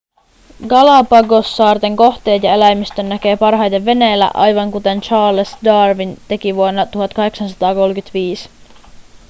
galapagossaarten kohteet ja eläimistön näkee parhaiten veneellä aivan kuten charles darwin teki vuonna 1835